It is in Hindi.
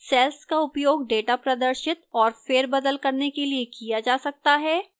cells का उपयोग data प्रदर्शित और फेरबदल करने के लिए किया जा सकता है